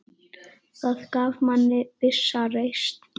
Það gaf manni vissa reisn.